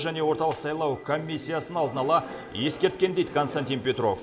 және орталық сайлау комиссиясын алдын ала ескерткен дейді константин петров